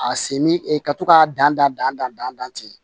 A sen min ka to k'a dan dan dan dan dan ten